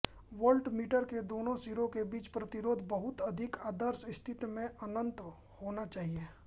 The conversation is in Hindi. वोल्टमीटर के दोनो सिरों के बीच प्रतिरोध बहुत अधिक आदर्श स्थिति में अनन्त होना चाहिये